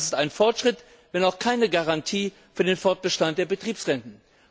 Das ist ein Fortschritt wenn auch keine Garantie für den Fortbestand der Betriebsrenten.